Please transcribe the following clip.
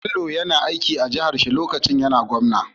Bello yayi aiki a jahar shi lokacin da yAna gwamna